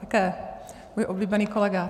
Také můj oblíbený kolega.